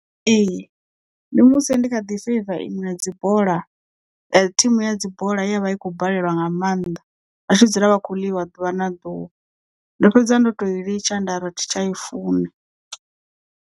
Ee ndi musi ndi kha ḓi feiva iṅwe ya dzibola thimu ya dzi bola ye ya vha i khou balelwa nga maanḓa vha tshi dzula vha khou ḽiwa ḓuvha na ḓuvha ndo fhedza ndo tou i litsha nda ri athi tsha i funa.